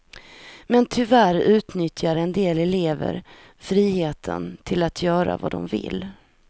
Men tyvärr utnyttjar en del elever friheten till att göra som de vill.